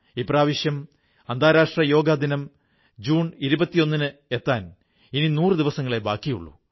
ഇപ്രാവശ്യം അന്താരാഷ്ട്ര യോഗാ ദിനം ജൂൺ 21 എത്താൻ ഇനി 100 ദിവസങ്ങളേ ബാക്കിയുള്ളൂ